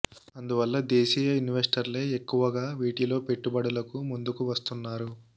అందువల్ల దేశీయ ఇన్వెస్టర్లే ఎక్కువగా వీటిలో పెట్టుబడులకు ముం దుకు వస్తున్నారు